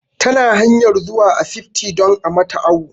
Ta na hanyar zuwa asibti don a mata awu